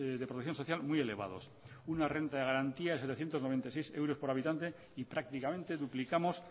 de producción social muy elevados una renta de garantía de setecientos noventa y seis euros por habitante y prácticamente duplicamos